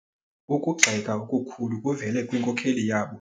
Ukugxeka okukhulu kuvele kwinkokeli yabo.